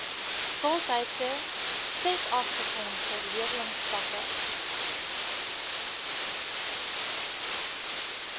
voltydse setabefondse leerlingskappe